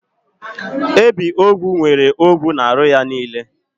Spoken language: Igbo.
Ebiogwu nwere ogwu n'ahụ ya niile.